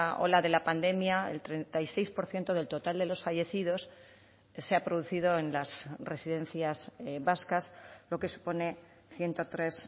ola de la pandemia el treinta y seis por ciento del total de los fallecidos se ha producido en las residencias vascas lo que supone ciento tres